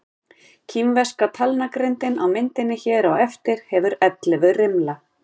Kínverska talnagrindin á myndinni hér á eftir hefur ellefu rimla.